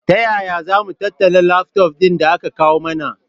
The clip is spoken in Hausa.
Taya zamu tattala lafton ɗin da aka kawu mana?